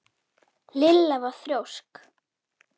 Lilla var þrjósk.